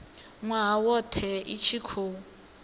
nwaha wothe i tshi khou